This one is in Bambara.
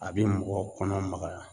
A bi mɔgɔ kɔnɔ magaya.